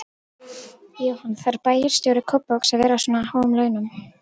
Jóhann: Þarf bæjarstjóri Kópavogs að vera á svona háum launum?